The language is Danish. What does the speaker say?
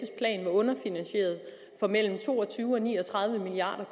underfinansieret med mellem to og tyve og ni og tredive milliard